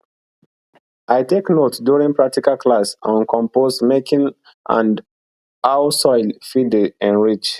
i take note during practical class on compost making and how soil fit dey enrich